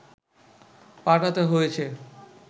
পাঠাতে হয়েছে